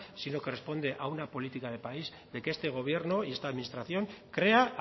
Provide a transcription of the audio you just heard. sino que responde a una política de país de que este gobierno y esta administración crea